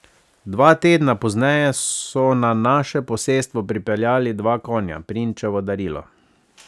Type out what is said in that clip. Dva tedna pozneje so na naše posestvo pripeljali dva konja, Prinčevo darilo.